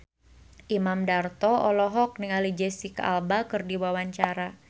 Imam Darto olohok ningali Jesicca Alba keur diwawancara